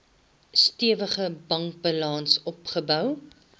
stewige bankbalans opgebou